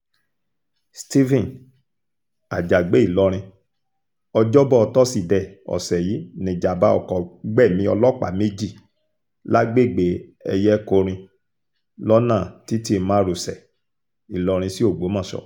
stephen àjàgbé ìlọrin ọjọ́bọ tọ́sídẹ̀ẹ́ ọ̀sẹ̀ yìí nìjàbá ọkọ gbẹ̀mí ọlọ́pàá méjì lágbègbè eyenkorin lọ́nà títí márosẹ̀ ìlọrin sí ògbómọṣọ